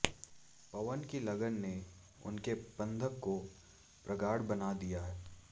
पवन की लगन ने उनके बंधन को प्रगाढ़ बना दिया